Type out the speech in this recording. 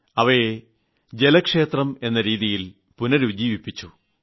അവയെ ജലക്ഷേത്രം എന്ന രീതിയിൽ പുനർജ്ജീവിപ്പിച്ചു